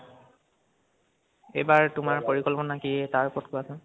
এইবাৰ তোমাৰ পৰিকল্পানা কি, তাৰওপৰত কোৱাচোন